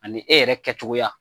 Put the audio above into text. Ani e yɛrɛ kɛcogoya